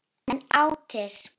Án endis.